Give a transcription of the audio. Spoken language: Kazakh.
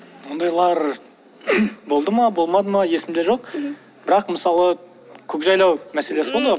ондайлар болды ма болмады ма есімде жоқ бірақ мысалы көкжайлау мәселесі болды ғой